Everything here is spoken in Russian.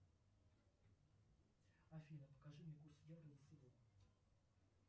афина покажи мне курс евро за сегодня